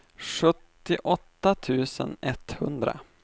sjuttioåtta tusen etthundra